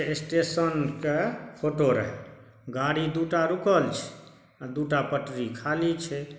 Station के photo रहय गाड़ी दुटा रूकल छै अ दुटा पटरी खाली छै।